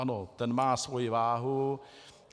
Ano, ten má svoji váhu.